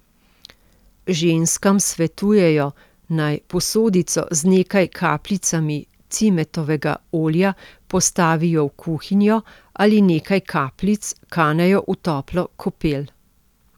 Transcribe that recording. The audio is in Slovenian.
Ženskam svetujejo, naj posodico z nekaj kapljicami cimetovega olja postavijo v kuhinjo ali nekaj kapljic kanejo v toplo kopel.